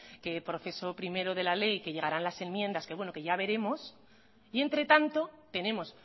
que proceso primero de la ley que llegarán las enmiendas que bueno que ya veremos y entre tanto tenemos